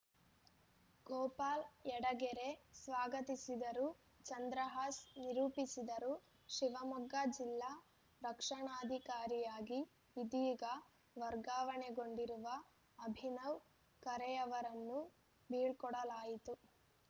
ಗೋಪಾಲ್‌ ಯಡಗೆರೆ ಸ್ವಾಗತಿಸಿದರು ಚಂದ್ರಹಾಸ್‌ ನಿರೂಪಿಸಿದರು ಶಿವಮೊಗ್ಗ ಜಿಲ್ಲಾ ರಕ್ಷಣಾಧಿಕಾರಿಯಾಗಿ ಇದೀಗ ವರ್ಗಾವಣೆಗೊಂಡಿರುವ ಅಭಿನವ್‌ ಖರೆಯವರನ್ನು ಬೀಳ್ಕೊಡಲಾಯಿತು